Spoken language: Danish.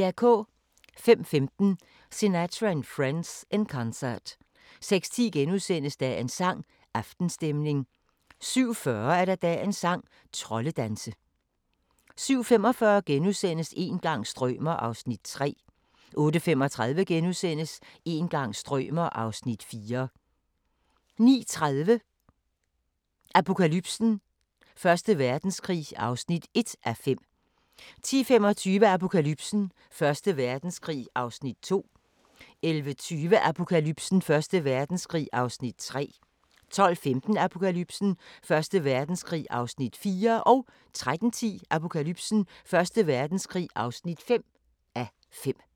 05:15: Sinatra and Friends – In Concert 06:10: Dagens sang: Aftenstemning * 07:40: Dagens sang: Troldedanse 07:45: Een gang strømer ... (3:6)* 08:35: Een gang strømer ... (4:6)* 09:30: Apokalypsen: Første Verdenskrig (1:5) 10:25: Apokalypsen: Første Verdenskrig (2:5) 11:20: Apokalypsen: Første Verdenskrig (3:5) 12:15: Apokalypsen: Første Verdenskrig (4:5) 13:10: Apokalypsen: Første Verdenskrig (5:5)